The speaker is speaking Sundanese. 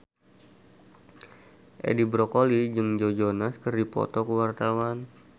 Edi Brokoli jeung Joe Jonas keur dipoto ku wartawan